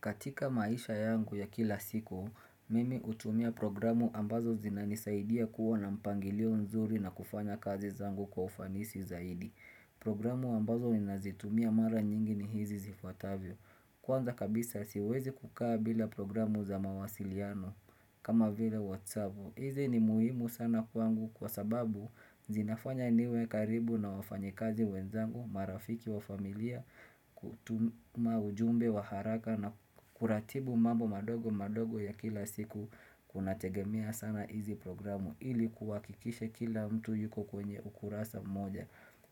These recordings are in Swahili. Katika maisha yangu ya kila siku, mimi hutumia programu ambazo zinanisaidia kuwa na mpangilio nzuri na kufanya kazi zangu kwa ufanisi zaidi. Programu ambazo ninazitumia mara nyingi ni hizi zifuatavyo. Kwanza kabisa siwezi kukaa bila programu za mawasiliano kama vile whatsapu. Hizi ni muhimu sana kwangu kwa sababu zinafanya niwe karibu na wafanyikazi wenzangu, marafiki wa familia, kutuma ujumbe wa haraka na kuratibu mambo madogo madogo ya kila siku kunategemia sana hizi programu ili kuwakikishe kila mtu yuko kwenye ukurasa moja.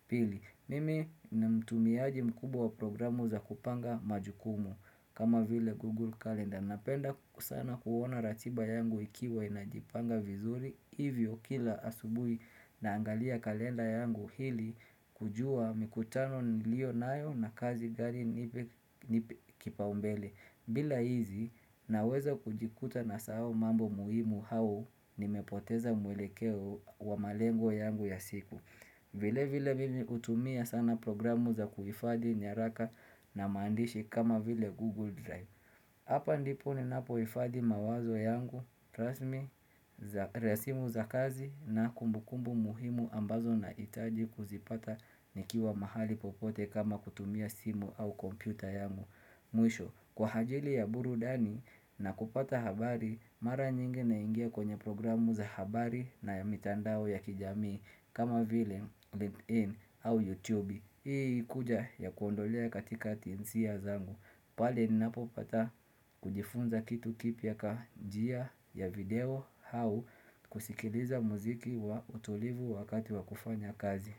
Pili, mimi ni mtumiaji mkubwa programu za kupanga majukumu kama vile Google Calendar Napenda sana kuona ratiba yangu ikiwa inajipanga vizuri Hivyo kila asubui naangalia kalenda yangu hili kujua mikutano niliyo nayo na kazi gari ni kipaumbele bila hizi naweza kujikuta nasahau mambo muhimu au nimepoteza mwelekeo wa malengo yangu ya siku vile vile mimi hutumia sana programu za kuhifadi nyaraka na maandishi kama vile Google Drive Hapa ndipo ninapohifadi mawazo yangu, trust me, resimu za kazi na kumbukumbu muhimu ambazo nahitaji kuzipata nikiwa mahali popote kama kutumia simu au kompyuta yangu Mwisho, kwa ajili ya burudani na kupata habari, mara nyingi naingia kwenye programu za habari na ya mitandao ya kijamii kama vile LinkedIn au YouTube. Hii kuja ya kuondolea katika tinsia zangu. Pale ninapopata kujifunza kitu kipya ka njia ya video hau kusikiliza muziki wa utulivu wakati wa kufanya kazi.